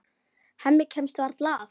Hemmi kemst varla að.